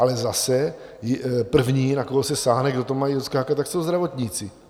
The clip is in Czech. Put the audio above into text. Ale zase první, na koho se sáhne, kdo to má odskákat, tak jsou zdravotníci.